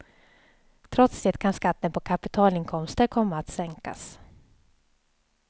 Trots det kan skatten på kapitalinkomster komma att sänkas.